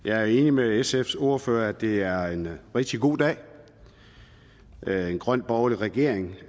jeg er enig med sfs ordfører i at det er en rigtig god dag en grøn borgerlig regering